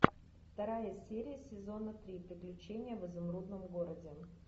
вторая серия сезона три приключения в изумрудном городе